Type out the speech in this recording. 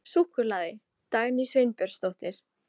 Súkkulaði: Dagný Sveinbjörnsdóttir.